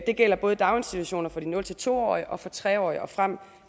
det gælder både i daginstitutioner for de nul to årige og for tre årige og frem